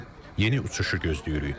Yeni uçuşu gözləyirik.